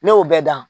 Ne y'o bɛɛ dan